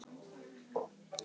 Tvær reyndar eða tvær reyndar?